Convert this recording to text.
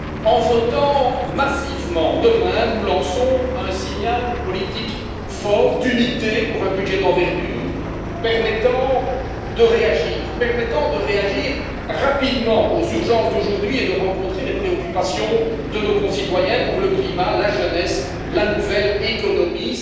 En votant massivement demain, nous lançons un signal politique fort d'unité pour un budget d'envergure permettant de réagir rapidement aux urgences d'aujourd'hui et de rencontrer les préoccupations de nos concitoyens pour le climat, la jeunesse, la nouvelle économie.